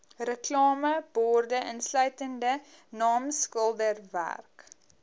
reklameborde insluitende naamskilderwerk